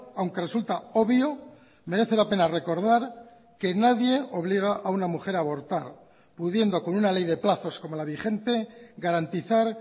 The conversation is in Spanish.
aunque resulta obvio merece la pena recordar que nadie obliga a una mujer a abortar pudiendo con una ley de plazos como la vigente garantizar